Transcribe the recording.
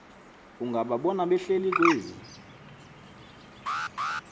ungababona behleli kwezi